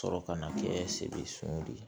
Sɔrɔ ka na kɛ sebe sow de ye